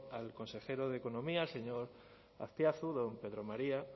al consejero de economía al señor azpiazu don pedro maría